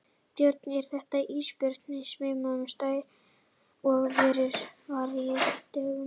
Björn: Er þetta ísbjörn á svipaðrar stærðar og sá fyrri er var hér á dögunum?